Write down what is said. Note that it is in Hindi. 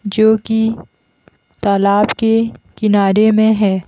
जो कि तालाब के किनारे में है।